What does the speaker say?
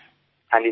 হ্যাঁ স্যার